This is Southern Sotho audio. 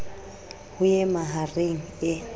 ho e maha reng e